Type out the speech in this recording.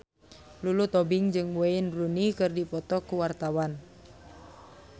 Lulu Tobing jeung Wayne Rooney keur dipoto ku wartawan